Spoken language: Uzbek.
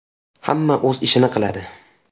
Hamma o‘z ishini qiladi.